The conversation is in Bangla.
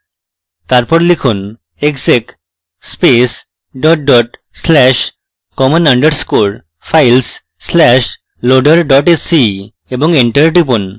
তারপর লিখুন: exec space dot dot slash common underscore files slash loader dot sce এবং enter টিপুন